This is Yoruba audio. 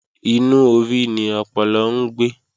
Inú orí ni ọpọlọ ń gbé